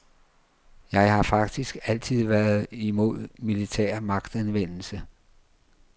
Jeg har faktisk altid været imod militær magtanvendelse.